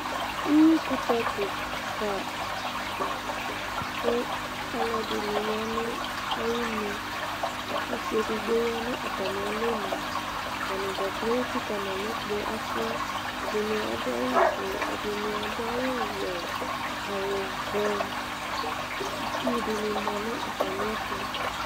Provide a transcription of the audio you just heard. uwi kutɛ keka kò alò ɛdini ya no ayinu ɔsi edigbo ya no atami alɔ nu atani dza kplo etsika n'alɔ kpe ɔsiɛ ɛdini adu awu fue ɛdini adu awu wɛ awu vɛ itsu di ni ma no atami ɛto.